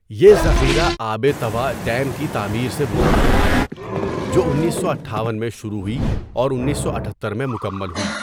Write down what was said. یہ ذخیرہ آب توا ڈیم کی تعمیر سے وجود میں آیا، جو انیسو اٹھاون میں شروع ہوئی اور اُنیسواٹھتہر میں مکمل ہوئی۔